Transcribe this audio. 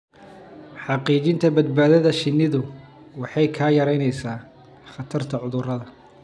Xaqiijinta badbaadada shinnidu waxay yaraynaysaa khatarta cudurrada.